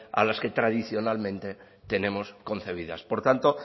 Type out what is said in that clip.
a las que tradicionalmente tenemos concebidas por tanto